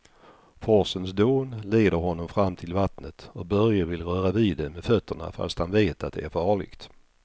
Forsens dån leder honom fram till vattnet och Börje vill röra vid det med fötterna, fast han vet att det är farligt.